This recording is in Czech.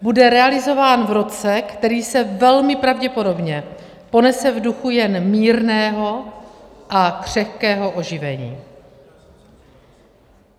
Bude realizován v roce, který se velmi pravděpodobně ponese v duchu jen mírného a křehkého oživení.